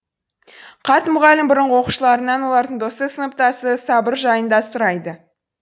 қарт мұғалім бұрынғы оқушыларынан олардың досы сыныптасы сабыр жайында сұрайды